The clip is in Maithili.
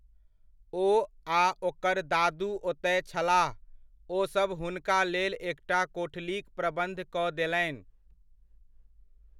ओ आ ओकर दादू ओतय छलाह, ओसभ हुनका लेल एकटा कोठलीक प्रबन्ध कऽ देलनि।